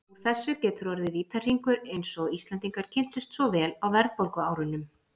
Úr þessu getur orðið vítahringur eins og Íslendingar kynntust svo vel á verðbólguárunum.